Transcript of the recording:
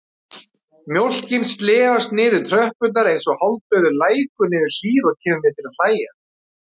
Mjólkin slefast niður tröppurnar einsog hálfdauður lækur niður hlíð og kemur mér til að hlæja.